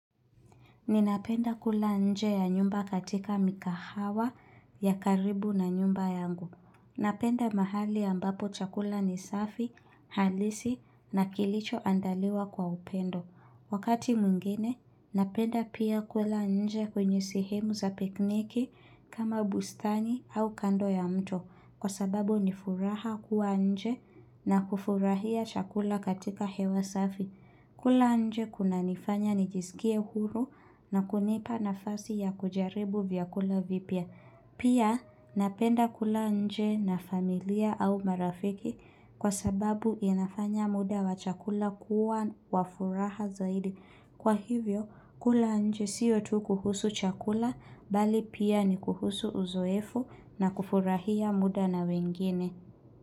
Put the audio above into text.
Ninapenda kula nje ya nyumba katika mikahawa ya karibu na nyumba yangu. Napenda mahali ambapo chakula ni safi, halisi na kilicho andaliwa kwa upendo. Wakati mwingine, napenda pia kula nje kwenye sehemu za pikniki kama bustani au kando ya mto kwa sababu nifuraha kuwa nje na kufurahia chakula katika hewa safi. Kula nje kuna nifanya nijisikie huru na kunipa nafasi ya kujaribu vyakula vipia. Pia napenda kula nje na familia au marafiki kwa sababu inafanya muda wa chakula kuwa wafuraha zaidi. Kwa hivyo kula nje siyo tu kuhusu chakula bali pia ni kuhusu uzoefu na kufurahia muda na wengine.